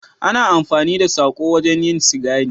Ana amfani da sako wajen yin sigari